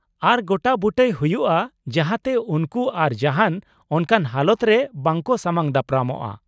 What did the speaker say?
ᱟᱨ ᱜᱚᱴᱟ ᱵᱩᱴᱟᱹᱭ ᱦᱩᱭᱩᱜᱼᱟ ᱡᱟᱦᱟᱸ ᱛᱮ ᱩᱱᱠᱩ ᱟᱨ ᱡᱟᱦᱟᱱ ᱚᱱᱠᱟᱱ ᱦᱟᱞᱚᱛ ᱨᱮ ᱵᱟᱝᱠᱚ ᱥᱟᱢᱟᱝ ᱫᱟᱯᱨᱟᱢᱚᱜ ᱾